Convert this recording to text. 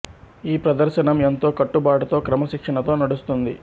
ఈ ప్రదర్శనం ఎంతో కట్టు బాటుతో క్రమ శిక్షణతో నడుస్తుంది